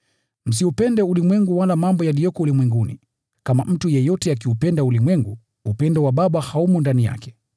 Msiupende ulimwengu wala mambo yaliyo ulimwenguni. Kama mtu yeyote akiupenda ulimwengu, upendo wa Baba haumo ndani yake.